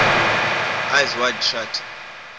eyes wide shut